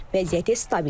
Vəziyyəti stabildir.